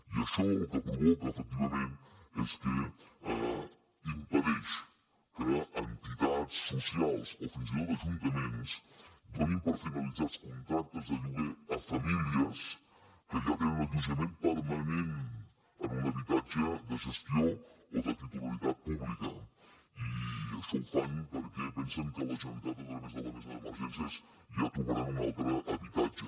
i això el que provoca efectivament és que impedeix que entitats socials o fins i tot ajuntaments donin per finalitzats contractes de lloguer a famílies que ja tenen allotjament permanentfan perquè pensen que la generalitat a través de la mesa d’emergències ja trobarà un altre habitatge